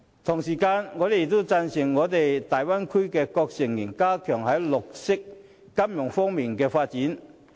同時，我亦贊成大灣區各成員加強在綠色金融方面的發展。